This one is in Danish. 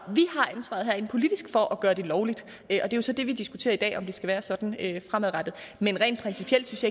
herinde politisk for at gøre det lovligt det er jo så det vi diskuterer i dag om det skal være sådan fremadrettet men rent principielt synes